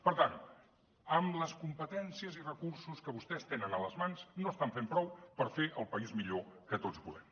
per tant amb les competències i recursos que vostès tenen a les mans no estan fent prou per fer el país millor que tots volem